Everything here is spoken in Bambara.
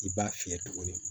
I b'a fiyɛ tuguni